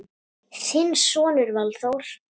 Þinn sonur Valþór.